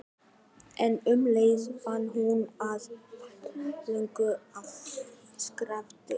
En um leið fann hún að fæturnir loguðu af sársauka.